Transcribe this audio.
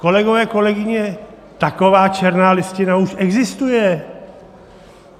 Kolegové, kolegyně, taková černá listina už existuje.